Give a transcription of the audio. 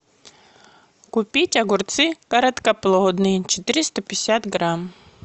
купить огурцы короткоплодные четыреста пятьдесят грамм